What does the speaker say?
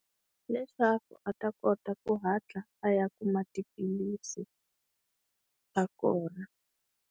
Leswaku a ta kota ku hatla a ya kuma tiphilisi ta kona.